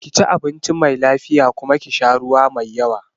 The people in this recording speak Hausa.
Ki ci abinci mai lafiya kuma ki sha ruwa mai yawa.